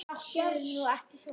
Láttu nú ekki svona